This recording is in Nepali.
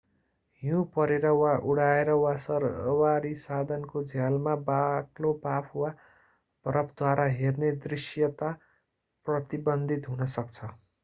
हिउ परेर वा उडाएर वा सवारी साधनको झ्यालमा बाक्लो बाफ वा बरफद्वारा हेर्ने दृष्यता प्रतिबन्धित हुन सक्छ